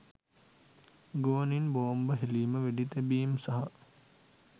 ගුවනින් බෝම්බ හෙළීම වෙඩි තැබීම් සහ